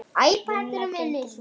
Vinnan gengur vel.